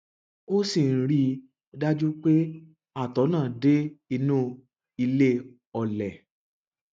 ó sì ń rí i dájú pé àtọ náà dé inú ilé ọlẹ